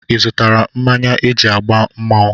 Ịzụtara mmanya eji agba mmanwụ?